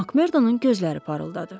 Makmerdonun gözləri parıldadı.